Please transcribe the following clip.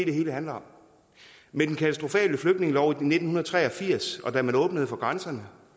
det hele handler om med den katastrofale flygtningelov fra nitten tre og firs da man åbnede for grænserne